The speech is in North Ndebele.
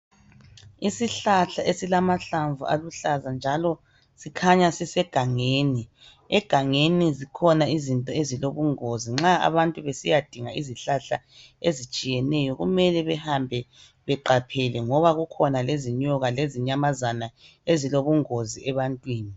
Isihlahla esilamahlamvu aluhlaza njalo sikhanya sisegangeni. Egangeni zikhona izinto ezilobungozi nxa abantu besiyadinga izihlahla ezitshiyeneyo kumele behambe beqaphele ngoba kukhona lezinyoka lezinyamazana ezilobungozi ebantwini.